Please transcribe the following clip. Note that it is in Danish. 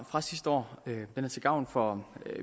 fra sidste år den er til gavn for